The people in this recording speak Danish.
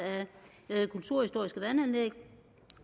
af kulturhistoriske vandanlæg